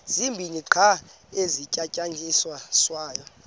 zibini qha ezisasetyenziswayo